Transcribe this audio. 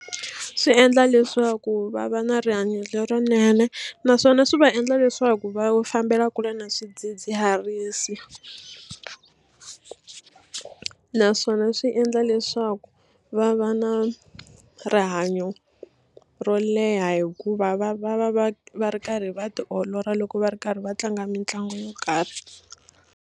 Swi endla leswaku va va na rihanyo lerinene naswona swi va endla leswaku va fambela kule na swidzidziharisi naswona swi endla leswaku va va na rihanyo ro leha hikuva va va va va va ri karhi va tiolola loko va ri karhi va tlanga mitlangu yo karhi.